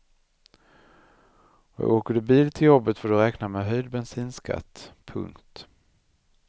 Och åker du bil till jobbet får du räkna med höjd bensinskatt. punkt